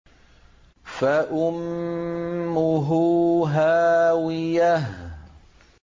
فَأُمُّهُ هَاوِيَةٌ